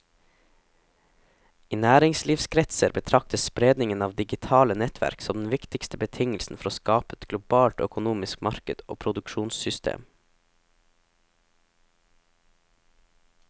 I næringslivskretser betraktes spredningen av digitale nettverk som den viktigste betingelsen for å skape et globalt økonomisk marked og produksjonssystem.